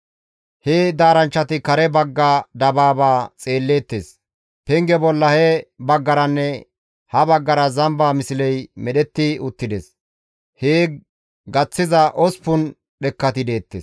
He daaranchchati kare bagga dabaaba xeelleettes. Penge bolla he baggaranne ha baggara zamba misley medhetti uttides. Hee gaththiza 8 dhekkati deettes.